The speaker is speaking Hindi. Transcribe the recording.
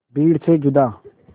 भीड़ से जुदा